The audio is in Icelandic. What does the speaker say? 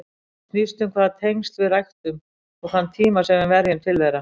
Það snýst um hvaða tengsl við ræktum og þann tíma sem við verjum til þeirra.